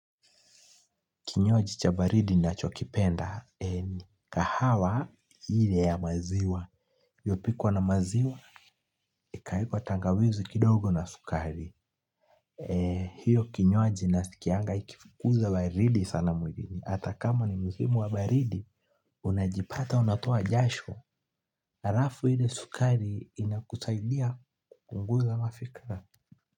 Kinywaji cha baridi nachokipenda, ni kahawa ile ya maziwa. Iliyopikwa na maziwa, ikaekwa tangawizi kidogo na sukari. Hio kinywaji nasikianga ikifukuza baridi sana mwilini. Hata kama ni msimu wa baridi, unajipata unatoa jasho. Halafu hile sukari inakusaidia kupunguza mafikra.